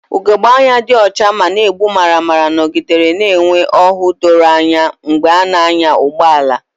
Ugogbe anya dị ọcha ma na-egbu maramara nọgidere na-enwe ọhụụ doro anya mgbe ị na-anya ụgbọ ala.